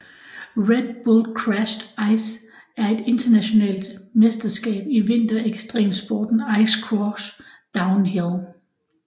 Red Bull Crashed Ice er et internationalt mesterskab i vinter ekstremsporten ice cross downhill